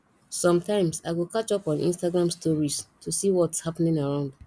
sometimes i go catch up on instagram stories to see whats happening around